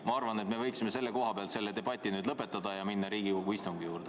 Ma arvan, et me võiksime selle debati nüüd lõpetada ja minna Riigikogu istungi juurde.